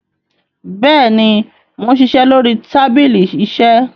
béèni món ṣiṣẹ lórí tábìlì iṣe.